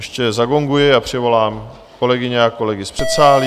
Ještě zagonguji a přivolám kolegyně a kolegy z předsálí.